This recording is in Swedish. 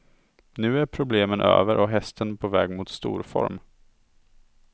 Nu är problemen över och hästen på väg mot storform.